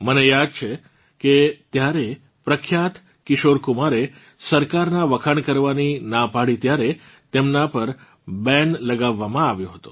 મને યાદ છે કે ત્યારે પ્રખ્યાત કિશોર કુમારે સરકારનાં વખાણ કરવાની ના પાડી ત્યારે તેમનાં પર બૈન લગાવવામાં આવ્યો હતો